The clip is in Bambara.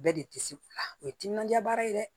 Bɛɛ de tɛ se o ye timinaja baara ye dɛ